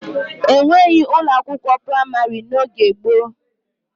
E nweghi ụlọ akwụkwọ praịmarị n'oge gboo.